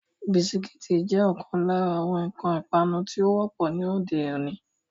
Bisikíìtì jẹ́ ọ̀kan lára àwọn nǹkan ipanu tí ó wọ́pọ̀ ní òde-òní.